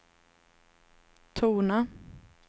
tona